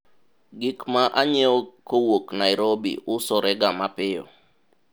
gik ma anyiewo kowuok Nairobi usorega mapiyo